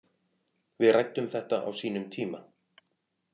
Við ræddum þetta á sínum tíma